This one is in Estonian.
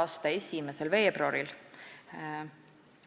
a 1. veebruaril,